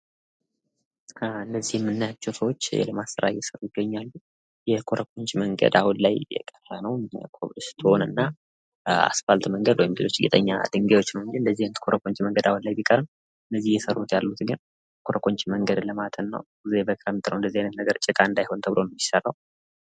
ከምስሉ ላይ የምናያቸው ሰዎች የልማት ስራ እየሰሩ የገኛሉ ። የኮረኮንች መንገድ አሁን ላይ እየቀረ ነው። ኮብልስቶን እና አስፋልት መንገድ እና ጌጠኛ ደንጋዮች ሁኗል። የኮረኮንች መንገድ አሁን ላይ ቢቀርም እነዚህ እየሰሩ ያሉት ግን የኮረኮንች መንገድ ልማትን ነው። ይሄ በጣም ጥሩ መንገድ ጭቃ እንዳይሆን ተብሎ ነው የሚሰራው።